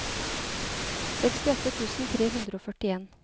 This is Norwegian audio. sekstiåtte tusen tre hundre og førtien